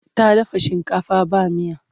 Ta dafa shinkafa ba miya.